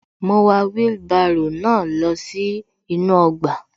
Mo wà wheelbarrow náà lọ sí inú ọgbà